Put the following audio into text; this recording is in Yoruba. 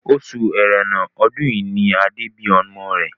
Oṣù ẹrẹ́nà ọdún yìí ni Adé bí ọmọ rẹ̀